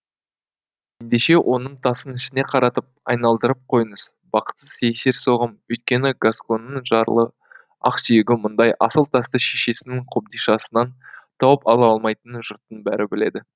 ендеше оның тасын ішіне қаратып айналдырып қойыңыз бақытсыз есерсоғым өйткені гасконның жарлы ақсүйегі мұндай асыл тасты шешесінің қобдишасынан тауып ала алмайтынын жұрттың бәрі біледі